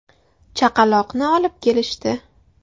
Chaqaloqni olib kelishdi.